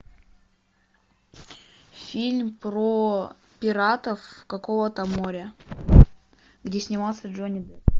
фильм про пиратов какого то моря где снимался джонни депп